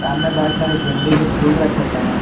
सामने बहुत सारे गेंदे के फूल रखे गए हैं।